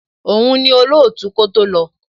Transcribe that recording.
Òun ni olootu kó tó lọ.